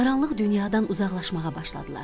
Qaranlıq dünyadan uzaqlaşmağa başladılar.